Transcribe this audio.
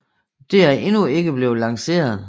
Det er endnu ikke blevet lanceret